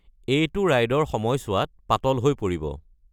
এইটো ৰাইডৰ সময়ছোৱাত পাতল হৈ পৰিব।